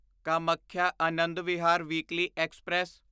Kamakhya Anand Vihar weekly express